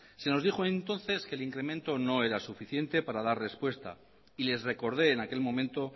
se nos dijo entonces que el incremento no era suficiente para dar respuesta y les recordé en aquel momento